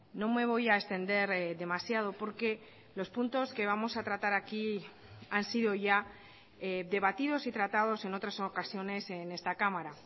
no me voy a extender demasiado porque los puntos que vamos a tratar aquí han sido ya debatidos y tratados en otras ocasiones en esta cámara